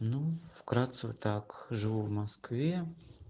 ну вкратце так живу в москве